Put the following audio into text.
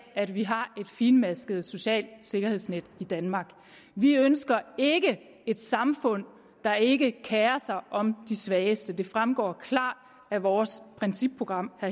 at vi har et finmasket socialt sikkerhedsnet i danmark vi ønsker ikke et samfund der ikke kerer sig om de svageste det fremgår klart af vores principprogram og